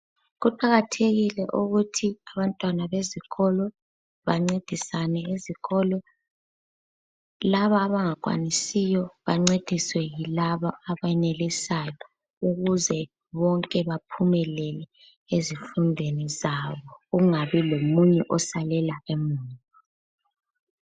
Kuqakathekile ukuthi abantwana bezikolo bancedisane ezikolo. Laba abangakwanisiyo bancediswe yilaba abenelisayo ukuze bonke baphumelele ezifundweni zabo, kungabi lomunye osalela emuva.